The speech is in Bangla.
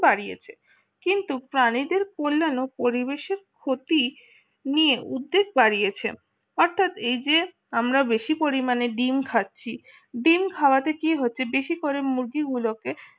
বাড়িয়েছে কিন্তু প্রাণীদের কল্যাণ ও পরিবেশের ক্ষতি নিয়ে উঠতে পারেছেন অর্থাৎ এই যে আমরা বেশি পরিমাণে ডিম খাচ্ছি ডিম খাওয়াতে কি হচ্ছে বেশি করে মুরগিগুলোকে